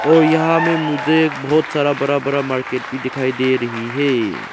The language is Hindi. और यहां में मुझे एक बहोत सारा बड़ा बड़ा मार्केट भी दिखाई दे रही है।